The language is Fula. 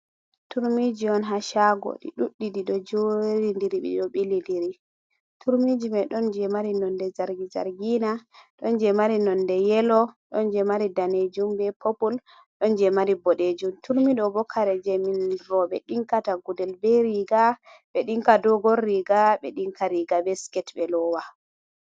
Turmiji on haa shago. Ɗi ɗuɗɗi ɗiɗo jeri ndiri, ɗiɗo ɓili ndiri. Turmiji mai ɗon je mari nonde zargi zargina, ɗon je mari nonde yelo, ɗon je mari danejum be popul, ɗon je mari boɗejum. Turmi ɗo bo kare je min rooɓe ɗinkata gudel be riga, ɓe ɗinka dogor riga, ɓe ɗinka riga be siket ɓe loowa.